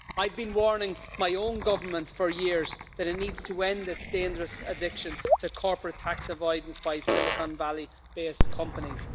I've been warning my own government for years that it needs to end its dangerous addiction to corporate tax avoidance by Silicon Valley based companies.